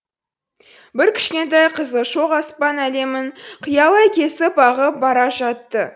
бір кішкентай қызыл шоқ аспан әлемін қиялай кесіп ағып бара жатты